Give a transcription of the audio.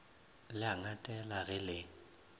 le a ngatela ge le